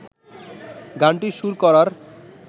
গানটির সুর করার